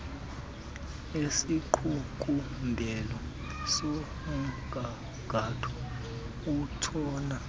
isiqukumbelo somgangatho utshona